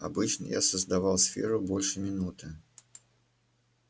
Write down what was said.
обычно я создавал сферу больше минуты